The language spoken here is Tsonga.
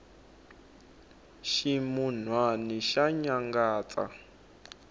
ximunwani xa nyangatsa